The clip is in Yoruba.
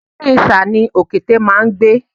Inú ìṣà ni òkété máá ń gbé